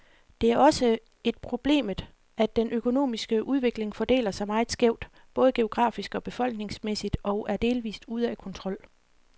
Det er også et problemet, at den økonomiske udvikling fordeler sig meget skævt, både geografisk og befolkningsmæssigt, og er delvist ude af kontrol.